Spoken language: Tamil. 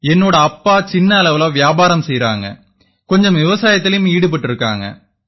என்னோட அப்பா சின்ன அளவுல வியாபாரம் செய்யறாங்க கொஞ்சம் விவசாயத்திலயும் ஈடுபட்டிருக்காங்க